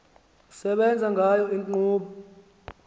esebenza ngayo inkqubo